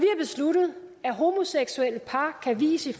besluttet at homoseksuelle par kan vies i